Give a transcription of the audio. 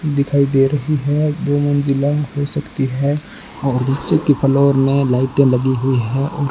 दिखाई दे रही है दो मंजिला हो सकती है और नीचे की फ्लोर में लाइटे लगी हुई है और --